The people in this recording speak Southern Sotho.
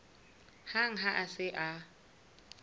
hang ha a se a